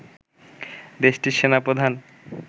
দেশটির সেনা প্রধান